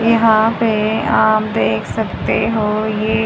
यहां पे आप देख सकते हो ये--